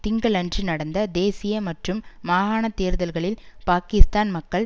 திங்களன்று நடந்த தேசிய மற்றும் மாகாண தேர்தல்களில் பாக்கிஸ்தான் மக்கள்